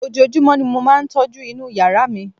ojojúmọ́ ni mo máà ń tọ́jú inú yàrá mi